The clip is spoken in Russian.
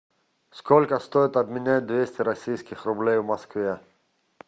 сколько стоит обменять двести российских рублей в москве